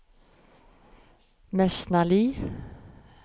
Mesnali